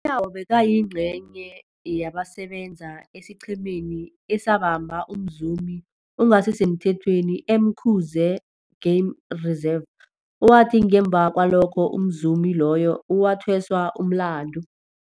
UNyawo bekayingcenye yabasebenza esiqhemeni esabamba umzumi ongasisemthethweni e-Umkhuze Game Reserve, owathi ngemva kwalokho umzumi loyo wathweswa umlandu.